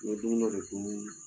N ye dumuni dɔ de dumu